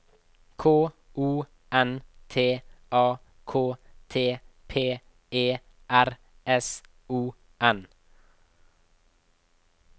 K O N T A K T P E R S O N